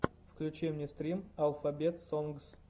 включи мне стрим алфабет сонгс